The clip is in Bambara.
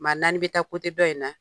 Maa naani bɛ taa dɔ in na.